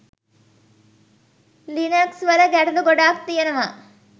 Linux වල ගැටඵ ගොඩක් තියෙනවා